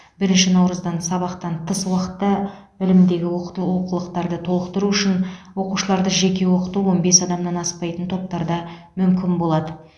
бірінші наурыздан сабақтан тыс уақытта білімдегі олқылықтарды толықтыру үшін оқушыларды жеке оқыту он бес адамнан аспайтын топтарда мүмкін болады